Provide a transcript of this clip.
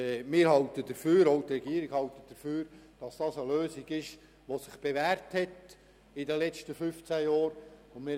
Auch die Regierung hält dafür, dass dies eine Lösung ist, die sich in den letzten fünfzehn Jahren bewährt hat.